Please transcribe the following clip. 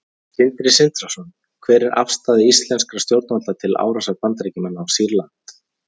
Sindri Sindrason: Hver er afstaða íslenskra stjórnvalda til árásar Bandaríkjamanna á Sýrland?